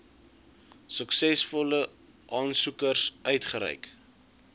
suksesvolle aansoekers uitgereik